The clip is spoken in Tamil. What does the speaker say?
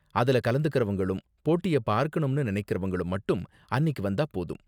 அதுல கலந்துக்கறவங்களும், போட்டிய பாக்கணும்னு நினைக்கறவங்களும் மட்டும் அன்னிக்கு வந்தா போதும்.